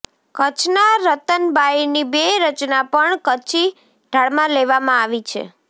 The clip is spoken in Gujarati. કચ્છનાં રતનબાઈની બે રચના પણ કચ્છી ઢાળમાં લેવામાં આવી છે